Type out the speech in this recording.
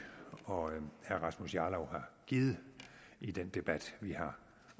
og herre rasmus jarlov har givet i den debat vi har